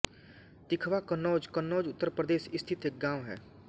तिखवा कन्नौज कन्नौज उत्तर प्रदेश स्थित एक गाँव है